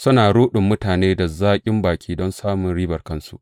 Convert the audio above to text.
Suna ruɗin mutane da zaƙin baki don samun ribar kansu.